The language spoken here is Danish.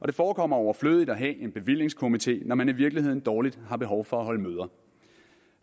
det forekommer overflødigt at have en bevillingskomite når man i virkeligheden dårligt har behov for at holde møder